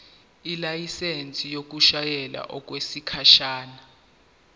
ilayisensi yokushayela okwesikhashana